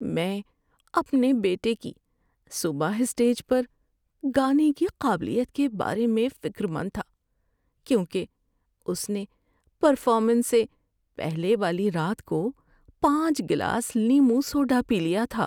میں اپنے بیٹے کی صبح اسٹیج پر گانے کی قابلیت کے بارے میں فکرمند تھا کیونکہ اس نے پرفارمنس سے پہلے والی رات کو پانچ گلاس لیموں سوڈا پی لیا تھا۔